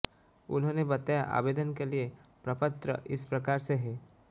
उन्होंने बताया आवेदन के लिए प्रपत्र इस प्रकार से है